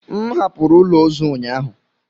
M hapụrụ ụlọ ozu ụnyaahụ.